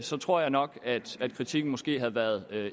så tror jeg nok at kritikken måske havde været